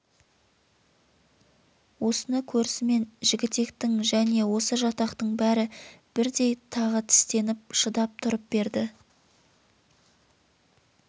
осыны көрісімен жігітектің және осы жатақтың бәрі бірдей тағы тістеніп шыдап тұрып берді